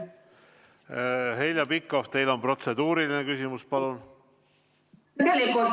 Heljo Pikhof, kas teil on protseduuriline küsimus?